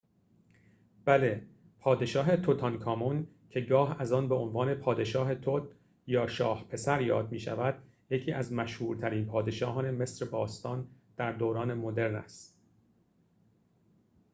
بله پادشاه توتانکامون که گاه از آن به عنوان پادشاه توت یا شاه پسر یاد می شود یکی از مشهورترین پادشاهان مصر باستان در دوران مدرن است